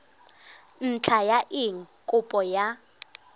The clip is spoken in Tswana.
ntlha ya eng kopo ya